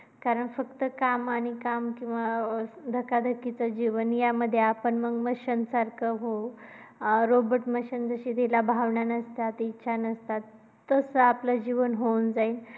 कारण फक्त काम आणि काम किंवा अं धकधकीचं जीवन यामध्ये आपण machine सारखे होऊ. अं robot machine जशी जिला भावना नसतात इच्छा नसतात, तसं आपलं जीवन होऊन जाईल.